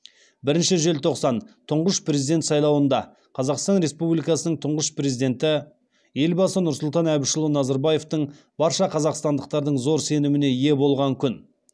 бірінші желтоқсан тұңғыш президент сайлауында қазақстан республикасының тұңғыш президенті елбасы нұрсұлтан әбішұлы назарбаевтың барша қазақстандықтардың зор сеніміне ие болған күн